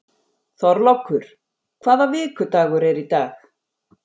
Þorlákur, hvaða vikudagur er í dag?